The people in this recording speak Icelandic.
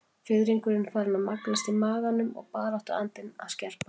Fiðringurinn farinn að magnast í maganum og baráttuandinn að að skerpast.